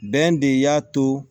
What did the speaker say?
Bɛn de y'a to